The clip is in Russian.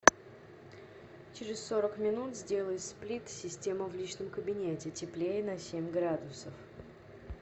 через сорок минут сделай сплит система в личном кабинете теплее на семь градусов